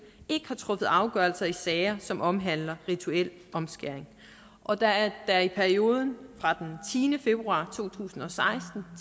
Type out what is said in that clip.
ikke har truffet afgørelser i sager som omhandler rituel omskæring og at der i perioden fra den tiende februar to tusind og seksten